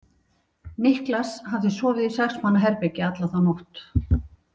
Niklas hafði sofið í sex manna herbergi alla þá nótt.